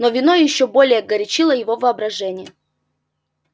но вино ещё более горячило его воображение